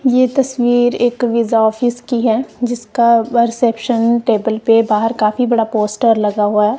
ये तस्वीर एक वीजा ऑफिस की है जिसका वर सेक्शन टेबल पे बाहर काफी बड़ा पोस्टर लगा हुआ--